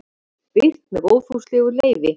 Birt með góðfúslegu leyfi.